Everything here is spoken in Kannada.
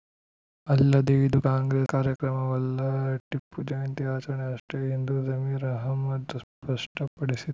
ಅಲ್ಲದೆ ಇದು ಕಾಂಗ್ರೆಸ್‌ ಕಾರ್ಯಕ್ರಮವಲ್ಲ ಟಿಪ್ಪು ಜಯಂತಿ ಆಚರಣೆ ಅಷ್ಟೇ ಎಂದು ಜಮೀರ್‌ ಅಹಮದ್‌ ಸ್ಪಷ್ಟಪಡಿಸಿ